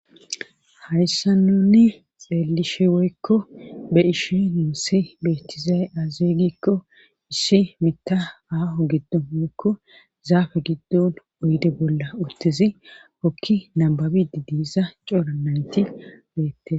hayssa nunni xeelishe woykko be ishe nuussi beettizaye aazeeygikko issi mita aahu giddo moykko zaafe giddon oyde bolla uttizi okki nababidi diiza coora nayti beette.